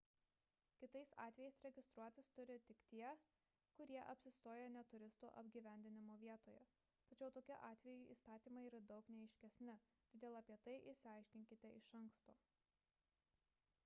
kitais atvejais registruotis turi tik tie kurie apsistoja ne turistų apgyvendinimo vietose tačiau tokiu atveju įstatymai yra daug neaiškesni todėl apie tai išsiaiškinkite iš anksto